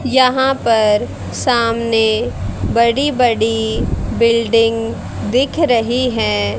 यहां पर सामने बड़ी बड़ी बिल्डिंग दिख रही है।